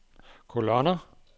kolonner